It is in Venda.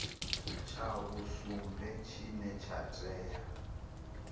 tsha vhusumbe tshine tsha tea